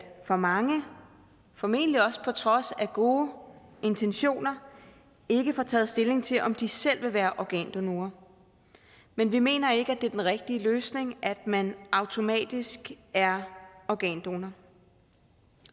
for mange formentlig også på trods af gode intentioner ikke får taget stilling til om de selv vil være organdonorer men vi mener ikke at det er den rigtige løsning at man automatisk er organdonor